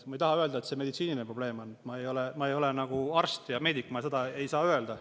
Ma ei taha öelda, et see on meditsiiniline probleem, ma ei ole arst ega meedik, ma seda ei saa öelda.